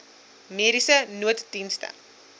mediese nooddienste